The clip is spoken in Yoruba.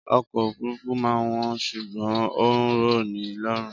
Ọkọ̀ òfúrufú máa ń wọ́n ṣùgbọ́n ó ń rọ ni lọ́rùn